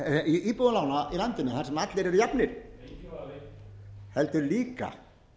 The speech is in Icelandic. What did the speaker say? íbúðalána í landinu þar sem allir eru jafnir heldur líka